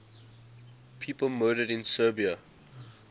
people murdered in serbia